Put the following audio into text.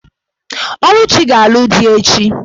Oluchi ga-alụ di echi.